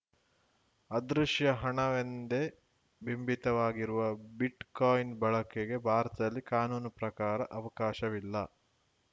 ಅದೃಶ್ಯ ಹಣವೆಂದೇ ಬಿಂಬಿತವಾಗಿರುವ ಬಿಟ್‌ಕಾಯಿನ್‌ ಬಳಕೆಗೆ ಭಾರತದಲ್ಲಿ ಕಾನೂನು ಪ್ರಕಾರ ಅವಕಾಶವಿಲ್ಲ